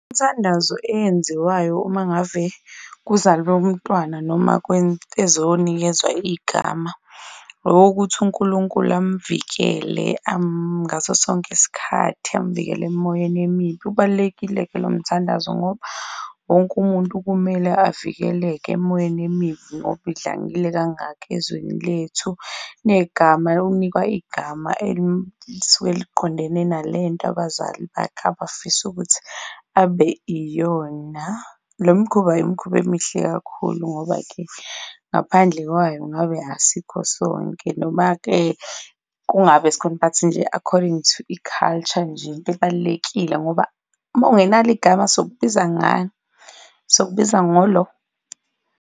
Imithandazo eyenziwayo uma ngave kuzalwe umntwana noma ezonikezwa igama, owokuthi uNkulunkulu amvikele ngaso sonke isikhathi, amvikele emoyeni emibi. Ubalulekile-ke lo mthandazo ngoba wonke umuntu kumele avikeleke emoyeni emibi ngoba idlangile kangaka ezweni lethu. Negama, ukunikwa igama elisuke liqondene nale nto abazali bakhe abafisa ukuthi abe iyona. Lo mkhuba, imikhuba emihle kakhulu ngoba-ke ngaphandle kwayo ngabe asikho sonke. Noma-ke kungabe sikhona but nje according to i-culture nje into ebalulekile ngoba uma ungenalo igama, sizokubiza ngani? Sizokubiza ngo lo.